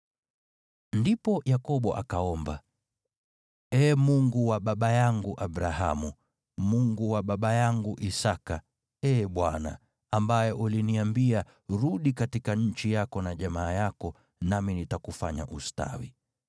Ndipo Yakobo akaomba, “Ee Mungu wa baba yangu Abrahamu, Mungu wa baba yangu Isaki, Ee Bwana , ambaye uliniambia, ‘Rudi katika nchi yako na jamaa yako, nami nitakufanya ustawi,’